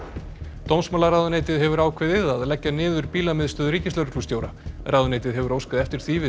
dómsmálaráðuneytið hefur ákveðið að leggja niður ríkislögreglustjóra ráðuneytið hefur óskað eftir því við